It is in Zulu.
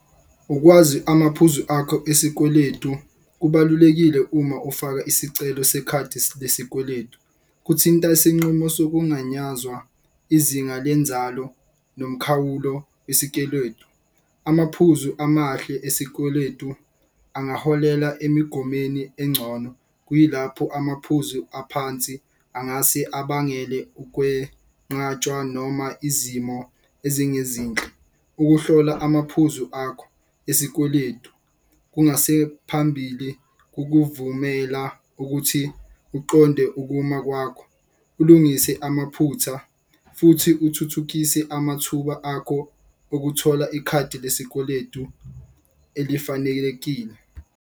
Ukwazi amaphuzu akho esikweletu kubalulekile uma ufaka isicelo sekhadi lesikweletu kuthinta isinqumo sokunganyazwa izinga lenzalo nomkhawulo . Amaphuzu amahle esikweletu angaholela emigomweni engcono, kuyilapho amaphuzu aphansi angase abangenele ukwenqatshwa noma izimo ezinge zinhle. Ukuhlola amaphuzu akho esikweletu kungase phambili kukuvumela ukuthi uqonde ukuma kwakho. Ulungise amaphutha futhi uthuthukise amathuba akho okuthola ikhadi lesikweletu elifanelekile.